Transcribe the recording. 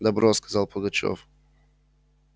добро сказал пугачёв